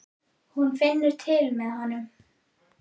Hún finnur til með honum.